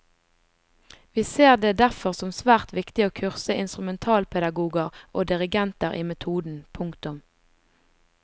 Vi ser det derfor som svært viktig å kurse instrumentalpedagoger og dirigenter i metoden. punktum